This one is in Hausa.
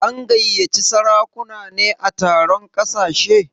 An gayyaci sarakuna ne a taron ƙasashe?